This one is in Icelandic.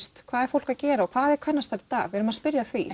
hvað er fólk að gera og hvað eru kvennastörf í dag við erum að spyrja að því